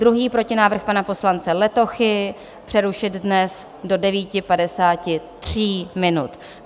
Druhý protinávrh, pana poslance Letochy, přerušit dnes do 9.53 minut.